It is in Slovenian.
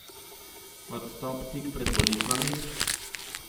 Odstop tik pred volitvami?